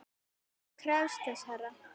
Ég krefst þess herra!